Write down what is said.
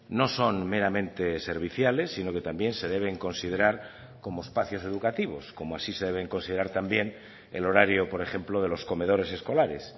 no son meramente serviciales sino que también se deben considerar como espacios educativos como así se deben considerar también el horario por ejemplo de los comedores escolares